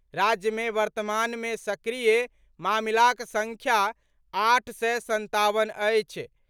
राज्य मे वर्तमान मे सक्रिय मामिलाक संख्या आठ सय संतावन अछि।